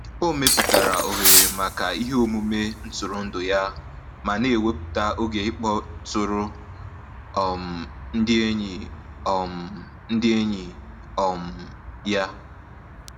O mepụtara ohere maka iheomume ntụrụndụ ya ma na-ewepụta oge ịkpọtụrụ um ndị enyi um ndị enyi um ya.